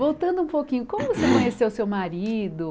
Voltando um pouquinho, como você conheceu seu marido?